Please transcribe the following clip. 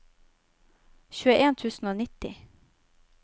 tjueen tusen og nitti